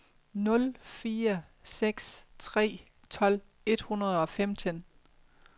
nul fire seks tre tolv et hundrede og femten